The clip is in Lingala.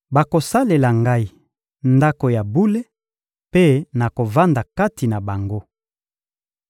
Bakosalela Ngai Ndako ya bule, mpe nakovanda kati na bango.